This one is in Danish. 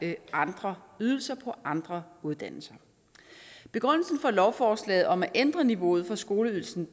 og andre ydelser på andre uddannelser begrundelsen for lovforslaget om at ændre niveauet for skoleydelsen